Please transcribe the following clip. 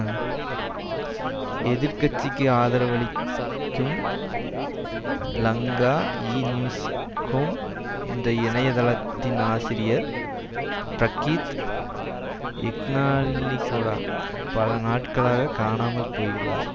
ம்ம் எதிர் கட்சிக்கு ஆதரவளிக் கும் லங்கா ஈ நியூஸ்கொம் என்ற இணைய தளத்தின் ஆசிரியர் பிரகீத் எக்னாலிகோட பல நாட்களாக காணாமல் போயுள்ளார்